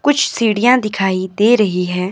कुछ सीढ़ियां दिखाई दे रही हैं।